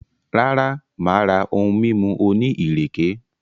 Rara, maa ra ohun mimu oni ireke.